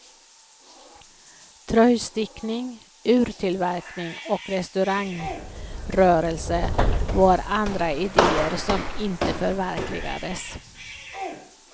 Tröjstickning, urtillverkning och restaurangrörelse var andra idéer som inte förverkligades.